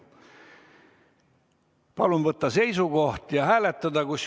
Palun võtta seisukoht ja hääletada!